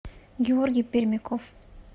георгий пермяков